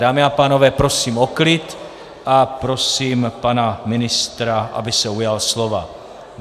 Dámy a pánové, prosím o klid a prosím pana ministra, aby se ujal slova.